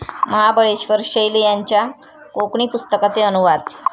महाबळेश्वर शैल यांच्या कोकणी पुस्तकांचे अनुवाद